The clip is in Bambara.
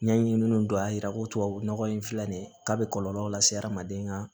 Ɲɛɲininiw dɔn a jira ko tubabu nɔgɔ in filɛ nin ye k'a be kɔlɔlɔw lase adamaden ma